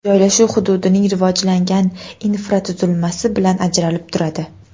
Joylashuv hududning rivojlangan infratuzilmasi bilan ajralib turadi.